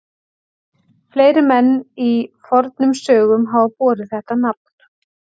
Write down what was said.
Fleiri menn í fornum sögum hafa borið þetta nafn.